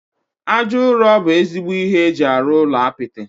Aja ụrọ bụ ezigbo ihe eji arụ ụlọ apịtị